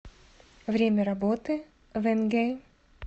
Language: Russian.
время работы венге